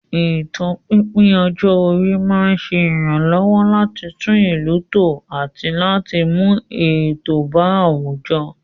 Ètò pípín ọjọ́ orí máa ń ṣe ìrànlọ́wọ́ láti tún ìlú tò àti láti mú ètò bá àwùjọ.